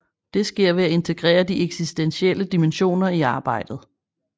Det sker ved at integrere de eksistentielle dimensioner i arbejdet